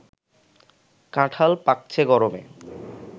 কাঁঠাল পাকছে গরমে